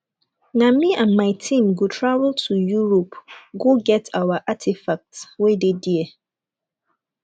me and my team go travel to europe go get our artefacts wey dey there